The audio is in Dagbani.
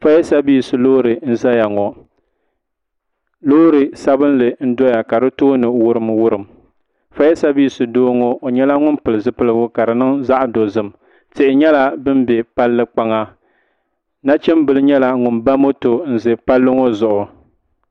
fayasevis loori mzaya ŋɔ loori sabinli n doya ka di tooni wurimwurim fayasevis doo ŋɔ o nyɛla ŋun pili zipilgu ka di niŋ zaɣa dozim tihi nyɛla din be palli kpaŋa nachimbila nyɛla ŋun ba moto n za palli ŋo zuɣu.